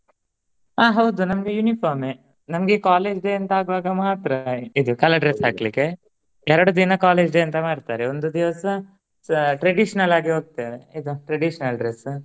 ಆ ಹೌದು ನಮ್ಗೆ uniform ಎ ನಮ್ಗೆ college day ಅಂತ ಆಗುವಾಗ ಮಾತ್ರ ಇದು colour dress ಹಾಕ್ಲಿಕ್ಕೆ. ಎರ್ಡ್ ದಿನ college day ಅಂತ ಮಾಡ್ತಾರೆ ಒಂದು ದಿವಸ ಸ traditional ಆಗಿ ಹೋಗ್ತೆವೆ ಇದು traditional dress .